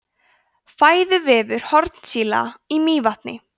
fæðuvefur hornsíla í mývatni